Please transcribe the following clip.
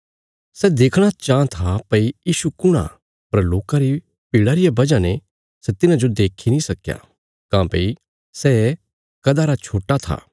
सै देखणा चाँह था भई यीशु कुण आ पर लोकां री भीड़ा रिया वजह ने सै तिन्हाजो देक्खी नीं सक्कया काँह्भई सै कदा रा छोट्टा था